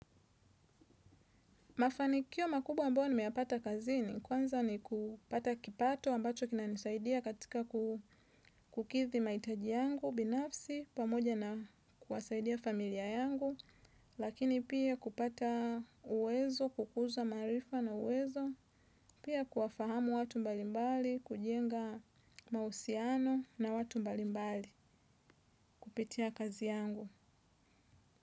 Mafanikio makubwa ambayo nimeyapata kazini kwanza ni kupata kipato ambacho kinanisaidia katika kukidhi mahitaji yangu, binafsi, pamoja na kuwasaidia familia yangu, lakini pia kupata uwezo, kukuza maarifa na uwezo, pia kuwafahamu watu mbalimbali, kujenga mahusiano na watu mbalimbali, kupitia kazi yangu.